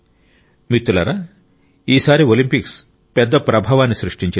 మిత్రులారా ఈసారి ఒలింపిక్స్ భారీ ప్రభావాన్ని సృష్టించాయి